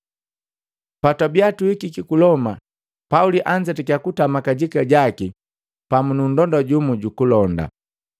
Patwabiya tuhikiki ku Loma, Pauli anzetakiya kutama kajika jaki pamu na nndonda jumu jukulonda.